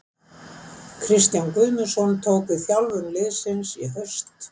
Kristján Guðmundsson tók við þjálfun liðsins í haust.